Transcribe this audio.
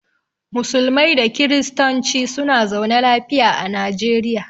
Musulmai da kiristonci suna zaune lafiya a najeriya.